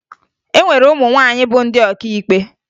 E nwere ụmụ nwaanyị bụ ndị ọkàikpe